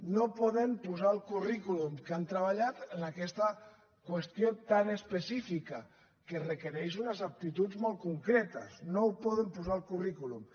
no poden posar al currículum que han treballat en aquesta qüestió tan específica que requereix unes aptituds molt concretes no ho poden posar al cu rrículum